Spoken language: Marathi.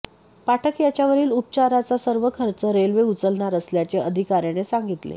पाठक याच्यावरील उपचाराचा सर्व खर्च रेल्वे उचलणार असल्याचे अधिकाऱयाने सांगितले